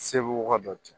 Seguka dɔ kɛ